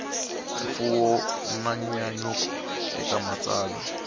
mfuwo na nyanyuko eka matsalwa